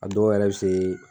A dɔw yɛrɛ bɛ se